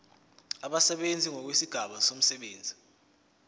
abasebenzi ngokwezigaba zomsebenzi